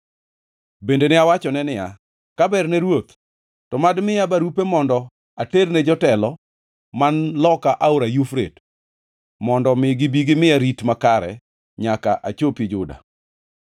Bende ne awachone niya, “Ka berne ruoth, to mad miya barupe mondo aterne jotelo man loka aora Yufrate, mondo omi gibi gimiya rit makare nyaka achopi Juda?